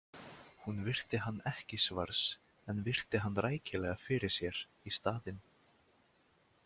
Hún virti hann ekki svars en virti hann rækilega fyrir sér í staðinn.